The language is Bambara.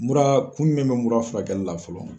Mura kun min bɛ mura furakɛli la fɔlɔ.